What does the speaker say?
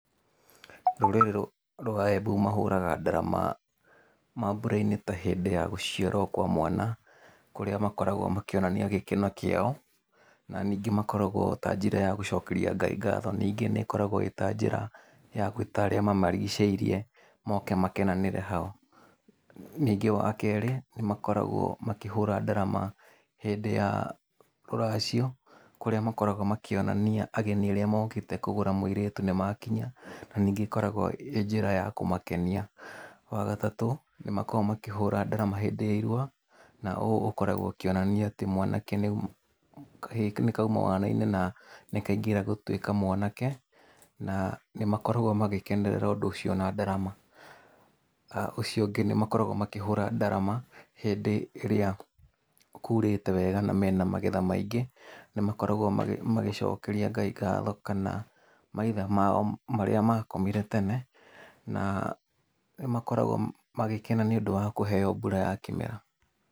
Rũrĩrĩ rwa Embu mahũraga ndarama mambũra-inĩ ta hĩndĩ ya gũciarwo kwa mwana, kũrĩa makoragwo makĩonania gĩkeno kĩao, na ningĩ makoragwo ĩta njĩra ya gũcokeria Ngai ngatho. Ningĩ nĩĩkoragwo ĩta njĩra ya gwĩta arĩa mamarigicĩirie moke makenanĩre hau. Ningĩ wakerĩ, nĩmakoragwo makĩhũra ndarama hĩndĩ ya rũracio kũrĩa makoragwo makĩonania ageni arĩa mokĩte kũgũra mũirĩtu nĩmakinya, na ningĩ ĩkoragwo ĩ njĩra ya kũmakenia. Wagatatũ nĩmakoragwo makĩhũra ndarama hĩndĩ ya irua na ũũ ũkoragwo ũkĩonania atĩ mwanake nĩau kahĩĩ nĩ kauma wana-inĩ na nĩ kaingĩra gũtuĩka mwanake, na nĩmakoragwo magĩkenerera ũndũ ũcio na ndarama. Ũcio ũngĩ nĩmakoragwo makĩhũra ndarama hĩndĩ ĩrĩa kurĩte wega na mena magetha maingĩ nĩmakoragwo magĩcokeria Ngai ngatho kana maithe mao marĩa makomire tene na nĩmakoragwo magĩkena nĩũndũ wa kũheo mbura ya kĩmera.